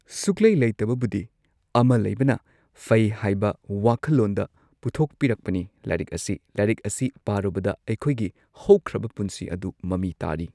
ꯁꯨꯛꯂꯩ ꯂꯩꯇꯕꯕꯨꯗꯤ ꯑꯃ ꯂꯩꯕꯅ ꯐꯩ ꯍꯥꯏꯕ ꯋꯥꯈꯜꯂꯣꯟꯗ ꯄꯨꯊꯣꯛꯄꯤꯔꯛꯄꯅꯤ ꯂꯥꯏꯔꯤꯛ ꯑꯁꯤ ꯂꯥꯏꯔꯤꯛ ꯑꯁꯤ ꯄꯥꯔꯨꯕꯗ ꯑꯩꯈꯣꯏꯒꯤ ꯍꯧꯈ꯭ꯔꯕ ꯄꯨꯟꯁꯤ ꯑꯗꯨ ꯃꯃꯤ ꯇꯥꯔꯤ꯫